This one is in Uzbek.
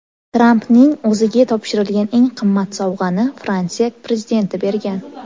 Trampning o‘ziga topshirilgan eng qimmat sovg‘ani Fransiya prezidenti bergan.